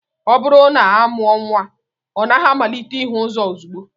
Ọ bụrụ na amụọ nnwa, ọ naghị amalite ihu ụzọ ozugbo